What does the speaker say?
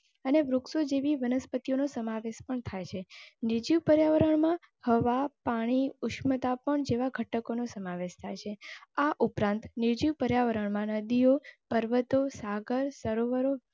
અને વૃક્ષો જેવી વનસ્પતિઓનો સમાવેશ પણ થાય ને નિર્જિવ પર્યાવરણમાં હવા, પાણી, ઉશ્મતા પણ જેવા ઘટકોનો સમાવેશ થાય છે. આ ઉપરાંત નિર્જીવ પર્યાવરણ માં નદીઓ, પર્વતો, સાગરો, સરોવર.